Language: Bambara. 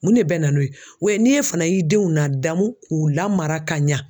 Mun ne bɛ na n'o ye o ye n'e fana y'i denw ladamu k'u lamara ka ɲa